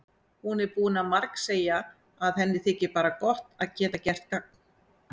Hún er búin að margsegja að henni þyki bara gott að geta gert gagn.